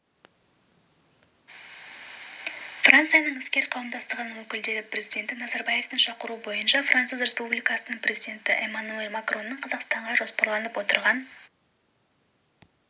францияның іскер қауымдастығының өкілдері президенті назарбаевтың шақыруы бойынша француз республикасының президенті эмманюэль макронның қазақстанға жоспарланып отырған